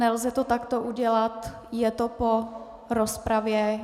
Nelze to takto udělat, je to po rozpravě.